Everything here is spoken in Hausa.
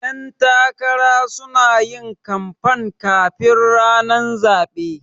Ƴan takara sunayin kanfan kafin ranar zaɓe